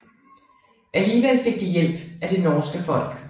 Alligevel fik de hjælp af det norske folk